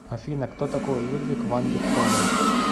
афина кто такой людвиг ван бетховен